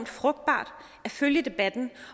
frugtbart at følge debatten